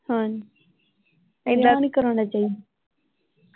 ਹਾਂ ਏਦਾਂ ਵੀ ਨਹੀਂ ਕਰਾਉਣਾ ਚਾਹੀਦਾ।